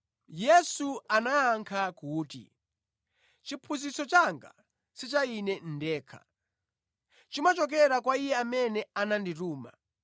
Yesu anayankha kuti, “Chiphunzitso changa si cha Ine ndekha. Chimachokera kwa Iye amene anandituma.